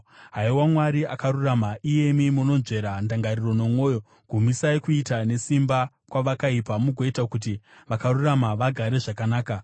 Haiwa, Mwari akarurama, iyemi munonzvera ndangariro nomwoyo, gumisai kuita nesimba kwavakaipa mugoita kuti vakarurama vagare zvakanaka.